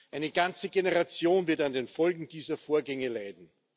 Eine ganze Generation wird an den Folgen dieser Vorgänge leiden.